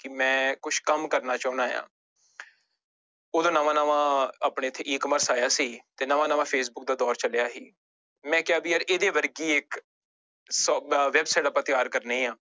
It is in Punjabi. ਕਿ ਮੈਂ ਕੁਛ ਕੰਮ ਕਰਨਾ ਚਾਹੁਨਾ ਆਂ ਉਦੋਂ ਨਵਾਂ ਨਵਾਂ ਆਪਣੇ ਇੱਥੇ E commerce ਆਇਆ ਸੀ ਤੇ ਨਵਾਂ ਨਵਾਂ ਫੇਸਬੁਕ ਦਾ ਦੌਰ ਚੱਲਿਆ ਸੀ ਮੈਂ ਕਿਹਾ ਵੀ ਯਾਰ ਇਹਦੇ ਵਰਗੀ ਇੱਕ ਸ ਅਹ website ਆਪਾਂ ਤਿਆਰ ਕਰਨੀ ਹੈ।